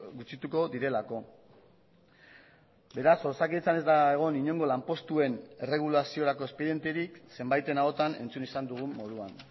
gutxituko direlako beraz osakidetzan ez da egon inongo lanpostuen erregulaziorako espedienterik zenbaiten ahotan entzun izan dugun moduan